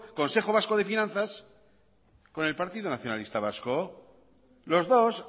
consejo vasco de finanzas con el partido nacionalista vasco los dos